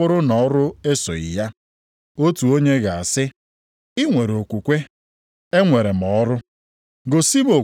ma otu onye nʼime unu asị ha, “Laa nʼudo, kpuchiekwa onwe gị nke ọma, rijuokwa afọ,” nʼenyeghị ya ihe dị mkpa maka ahụ ya, uru gịnị ka ọ bara?